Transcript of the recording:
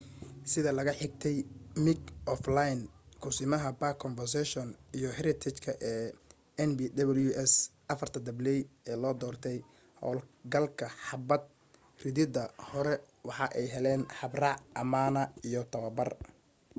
sida laga xigtay mick o'flynn kusimaha park conservation iyo heritage ee npws afarta dabley ee loo doortay howl galka xabad ridida hore waxa ay heleen habraac amaana iyo tababar